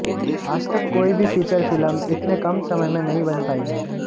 आज तक कोई भी फीचर फिल्म इतने कम समय में नहीं बन पाई है